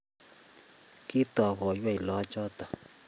Kitooy koiwenyoo lagoochoto